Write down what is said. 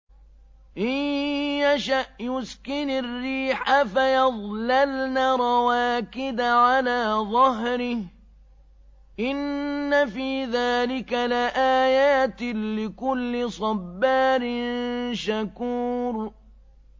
إِن يَشَأْ يُسْكِنِ الرِّيحَ فَيَظْلَلْنَ رَوَاكِدَ عَلَىٰ ظَهْرِهِ ۚ إِنَّ فِي ذَٰلِكَ لَآيَاتٍ لِّكُلِّ صَبَّارٍ شَكُورٍ